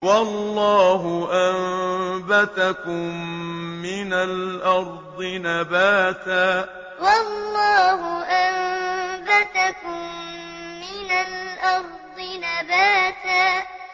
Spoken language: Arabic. وَاللَّهُ أَنبَتَكُم مِّنَ الْأَرْضِ نَبَاتًا وَاللَّهُ أَنبَتَكُم مِّنَ الْأَرْضِ نَبَاتًا